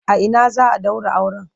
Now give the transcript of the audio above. A ina za a ɗaura auren?